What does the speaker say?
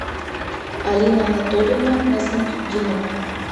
алина анатольевна насмутдинова